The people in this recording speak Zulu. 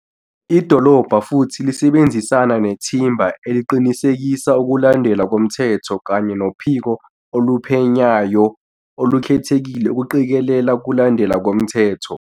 Idolobha futhi lisebenzisana nethimba eliqinisekisa ukulandelwa komthetho kanye noPhiko Oluphenyayo Olu-khethekile ukuqikelela ukulandelwa komthetho.